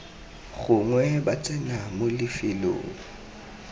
gongwe ba tsena mo lefelong